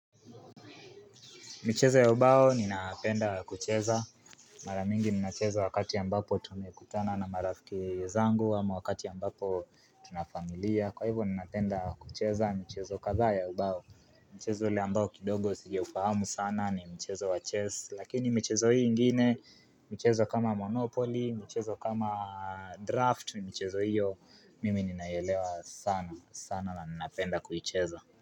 Michezo ya ubao ninapenda kucheza. Mara mingi ninacheza wakati ambapo tumekutana na marafiki zangu ama wakati ambapo tunafamilia. Kwa hivyo ninapenda kucheza michezo kadhaa ya ubao. Mchezo ule ambao kidogo sijaufahamu sana ni michezo wa chess. Lakini michezo hii ingine, michezo kama monopoly, michezo kama draft, michezo hiyo mimi ninaielewa sana na ninapenda kucheza.